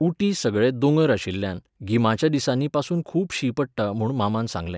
उटी सगळे दोंगर आशिल्ल्यान गिमाच्या दिसांनी पासून खूब शीं पडटा म्हूण मामान सांगलें.